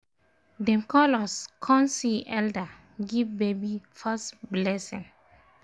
dem call us con see elder give baby first blessing